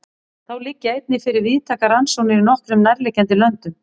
Þá liggja einnig fyrir víðtækar rannsóknir í nokkrum nærliggjandi löndum.